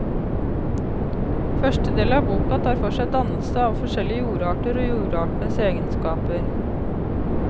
Første del av boka tar for seg dannelse av forskjellige jordarter og jordartenes egenskaper.